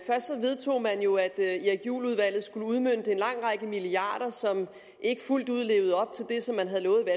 lave at erik juhl udvalget skulle udmønte en lang række milliarder som ikke fuldt ud levede op til det som man havde lovet